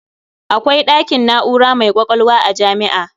Akwai ɗakin na'ura mai ƙwaƙwalwa a jami'a.